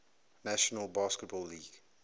national basketball league